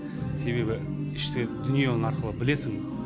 себебі ішкі дүние арқылы оны білесің